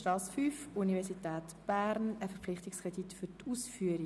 Dann kommen wir direkt zur Abstimmung.